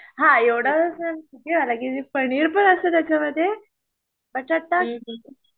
हा एवढासा पनिरपण असतं त्याच्यामध्ये